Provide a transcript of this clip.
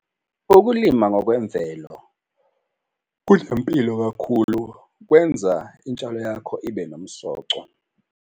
Ukulima ngokwemvelo kunempilo kakhulu, kwenza intshalo yakho ibe nomsoco.